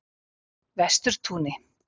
Vesturtúni